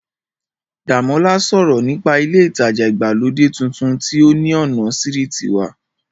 Dàmọ́lá sọ̀rọ̀ nípa ilé ìtajà ìgbàlódé tuntun tí ó ní ọ̀nà sírìtì wa